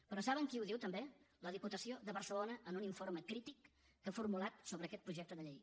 però saben qui ho diu també la diputació de barcelona en un informe crític que ha formulat sobre aquest projecte de llei